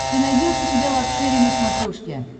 ты найдешь у себя лакшери на смотрешке